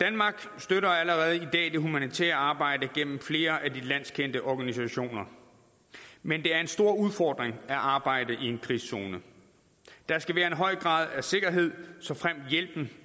danmark støtter allerede i dag det humanitære arbejde gennem flere af de landskendte organisationer men det er en stor udfordring at arbejde i en krigszone der skal være en høj grad af sikkerhed såfremt hjælpen